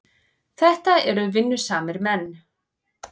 Þetta eru vinnusamir menn.